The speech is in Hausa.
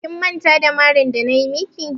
Ki manta da marin da ta yi maki!